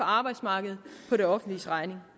arbejdsmarkedet på det offentliges regning